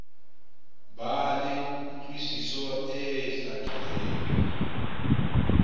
ba le kutlwisiso e hlakileng